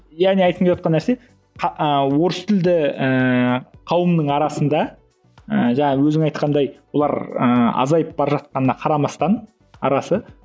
яғни айтқым келівотқан нәрсе ы орыс тілді ііі қауымның арасында ы жаңа өзің айтқандай олар ы азайып бара жатқанына қарамастан арасы